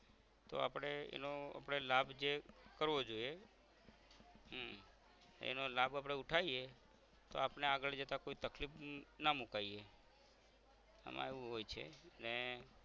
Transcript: તો આપરે એનો આપરે લાભ જે કરવો જોઇયે હમ એનો લાભ આપણે ઉથાઇએ તો આપણ ને આગળ જતાં કોઈ તકલીફ ના મુકાઈએ આમાં એવું હોય છે ને